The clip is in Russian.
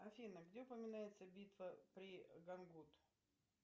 афина где упоминается битва при гангут